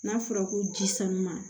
N'a fɔra ko ji sanuya